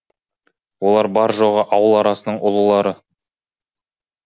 олар бар жоғы ауыл арасының ұлылары